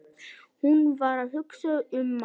Hún var að hugsa um Mark.